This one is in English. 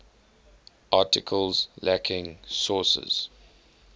articles lacking sources